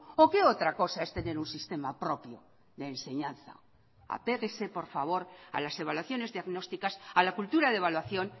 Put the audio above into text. o qué otra cosa es tener un sistema propio de enseñanza apéguese por favor a las evaluaciones diagnósticas a la cultura de evaluación